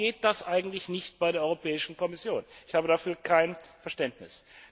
Warum geht das eigentlich bei der Europäischen Kommission nicht? Ich habe dafür kein Verständnis!